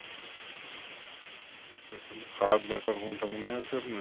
আচ্ছা তাহলে খারাপ ব্যাপার কোনটা মনে আছে আপনার?